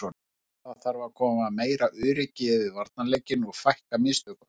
Það þarf að koma meira öryggi yfir varnarleikinn og fækka mistökunum.